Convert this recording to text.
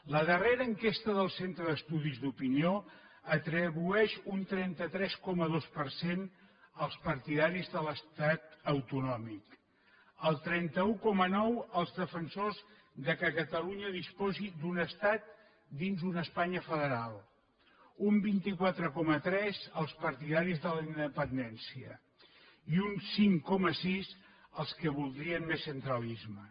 la darrera enquesta del centre d’estudis d’opinió atribueix un trenta tres coma dos per cent als partidaris de l’estat autonòmic el trenta un coma nou als defensors que catalunya disposi d’un estat dins d’una espanya federal un vint quatre coma tres als partidaris de la independència i un cinc coma sis als que voldrien més centralisme